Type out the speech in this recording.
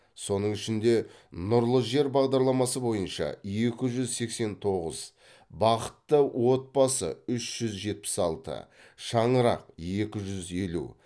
соның ішінде нұрлы жер бағдарламасы бойынша екі жүз сексен тоғыз бақытты отбасы үш жүз жетпіс алты шаңырақ екі жүз елу